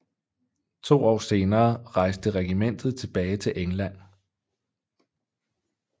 To år senere rejste regimentet tilbage til England